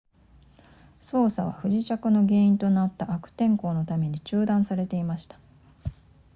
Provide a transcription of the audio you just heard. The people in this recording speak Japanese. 捜索は不時着の原因となった悪天候のために中断されていました